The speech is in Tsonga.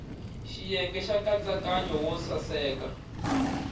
xiyenge xa nkatsakanyo wo saseka